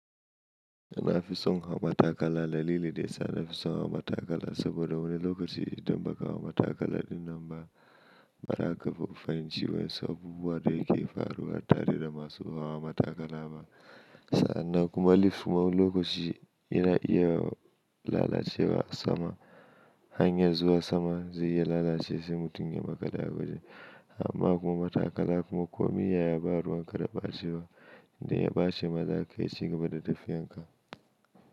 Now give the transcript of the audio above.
Ina fi son hawa matakala. Dalili daya, suna fi son hawa matakala saboda wani lokaci idan ba ka hawa matakala din nan ba, ba za ka fahimci wasu abubuwan da yake faruwa tare da masu hawa matakala ba. Sannan kuma lift kuma wani lokaci yana iya lalacewa sama. Hanyan zuwa sama zai iya lalacewa sai mutum ya makale a wajen. Amma kuma matakala kuma komai yaya ba ruwan ka da ɓace wa. Idan ya bace ma zaka iya cigaba da tafiyan ka.